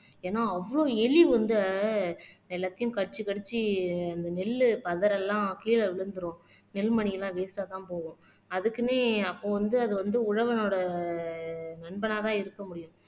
ஏன்னா அவ்வளவு எலி வந்து எல்லாத்தையும் கடிச்சு கடிச்சு அந்த நெல்லு பதர் எல்லாம் கீழே விழுந்துடும் நெல்மணி எல்லாம்வேஸ்ட்டா தான் போகும் அதுக்குன்னே அப்போ வந்து அது வந்து உழவனோட நண்பனாதான் இருக்க முடியும்